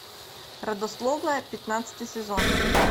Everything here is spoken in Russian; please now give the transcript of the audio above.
родословная пятнадцатый сезон